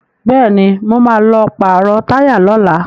Bẹ́ẹ̀ni, mo ma lọ pàrọ̀ táyà lọ́la